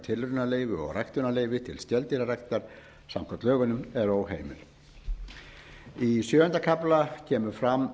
tilraunaleyfi og ræktunarleyfi til skeldýraræktar samkvæmt lögunum er óheimil í sjöunda kafla kemur fram